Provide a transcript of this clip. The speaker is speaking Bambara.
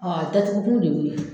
a datugu kun de ye o ye